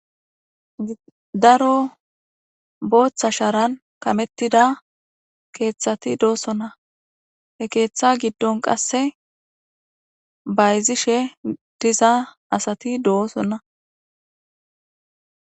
Daro bootha sharan kametida keethati doosona; he keetha giddon qasse bayzishe diza asati doosona.